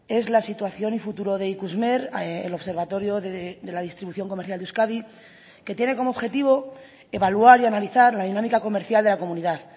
es la situación y futuro de ikusmer el observatorio de la distribución comercial de euskadi que tiene como objetivo evaluar y analizar la dinámica comercial de la comunidad